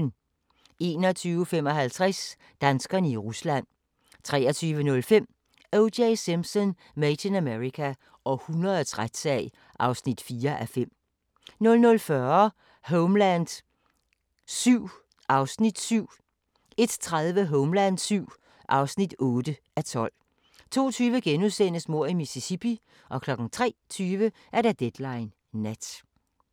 21:55: Danskerne i Rusland 23:05: O.J. Simpson: Made in America – århundredets retssag (4:5) 00:40: Homeland VII (7:12) 01:30: Homeland VII (8:12) 02:20: Mord i Mississippi * 03:20: Deadline Nat